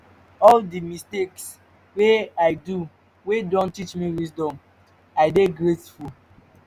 all di mistakes wey i do wey don teach me wisdom i dey grateful